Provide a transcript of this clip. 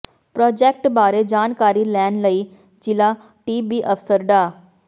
project ਬਾਰੇ ਜਾਣਕਾਰੀ ਲੈਣ ਲਈ ਜ਼ਿਲ੍ਹਾ ਟੀਬੀ ਅਫਸਰ ਡਾ